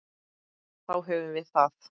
Þá höfum við það.